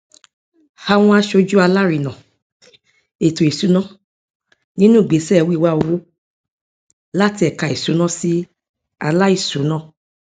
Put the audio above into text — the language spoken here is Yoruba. àwọn asojú alárinà ètò ìsúná nínú ìgbésẹ wíwá owó láti ẹka ìsúná sí aláìsúná